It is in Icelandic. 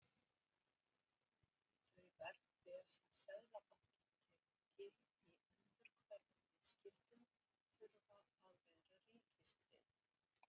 Þau verðbréf sem Seðlabankinn tekur gild í endurhverfum viðskiptum þurfa að vera ríkistryggð.